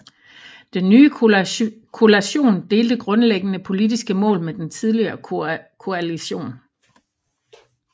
Den nye koalition delte grundlæggende politiske mål med den tidligere koalition